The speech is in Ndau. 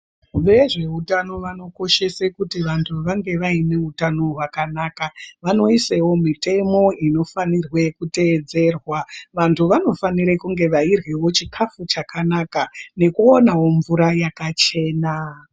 Vezveutano vanokoshesa kuti vantu vange vaineutano hwakanaka, vanoisewo mitemo inofanirwe kutevedzerwa. Vantu vanofanire kunge veiryawo chikafu chakanaka nekuonawo mvura yakachena.